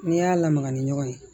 N'i y'a lamaga ni ɲɔgɔn ye